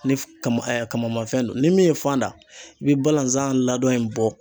Ni kama kamanfɛn don ni min ye fan da i bi balanzan ladon in bɔ